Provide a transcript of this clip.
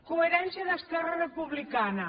coherència d’esquerra republicana